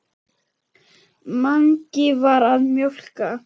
Mangi var að mjólka.